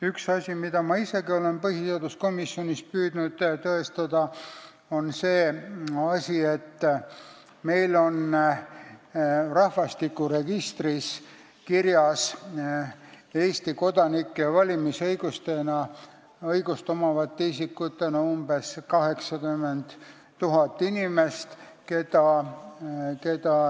Üks asi, mida ma isegi olen püüdnud põhiseaduskomisjonis tõestada, on see, et meil on rahvastikuregistris Eesti kodanikena, valimisõigust omavate isikutena kirjas umbes 80 000 inimest.